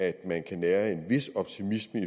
at man kan nære en vis optimisme